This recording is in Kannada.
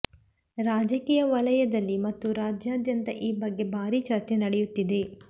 ರಾಜಕೀಯ ವಲಯದಲ್ಲಿ ಮತ್ತು ರಾಜ್ಯಾದ್ಯಂತ ಈ ಬಗ್ಗೆ ಭಾರೀ ಚರ್ಚೆ ನಡೆಯುತ್ತಿದೆ